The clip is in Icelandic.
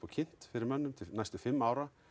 kynnt til næstu fimm ára